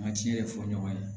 Ma ci ye fɔ ɲɔgɔn ye